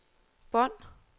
bånd